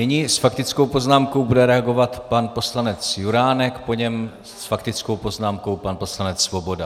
Nyní s faktickou poznámkou bude reagovat pan poslanec Juránek, po něm s faktickou poznámkou pan poslanec Svoboda.